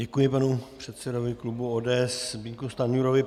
Děkuji panu předsedovi klubu ODS Zbyňku Stanjurovi.